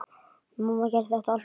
Mamma gerði þetta alltaf svona.